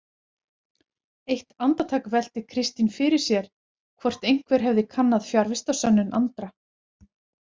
Eitt andartak velti Kristín fyrir sér hvort einhver hefði kannað fjarvistarsönnun Andra.